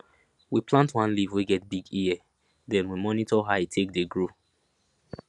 we plant one leaf wey get big ear den we monitor how e take dey grow